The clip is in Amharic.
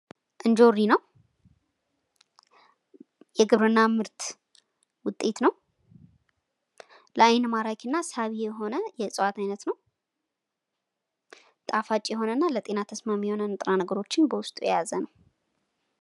እንጆሪ ነው። የግብርና ምርት ውጤት ነው። ለአይን ማራኪና ሳቢ የሆነ የዕፅዋት አይነት ነው። ጣፋጭ የሆነና ለጤና ተስማሚ የሆኑ ንጥረ ነገሮችን በውስጡ የያዘ ነው።